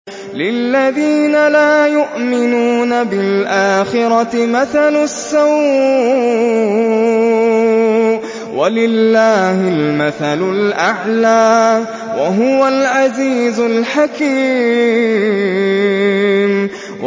لِلَّذِينَ لَا يُؤْمِنُونَ بِالْآخِرَةِ مَثَلُ السَّوْءِ ۖ وَلِلَّهِ الْمَثَلُ الْأَعْلَىٰ ۚ وَهُوَ الْعَزِيزُ الْحَكِيمُ